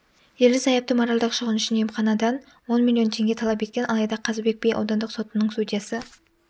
ерлі-зайыпты моральдық шығын үшін емханадан он миллион теңге талап еткен алайда қазыбек би аудандық сотының судьясы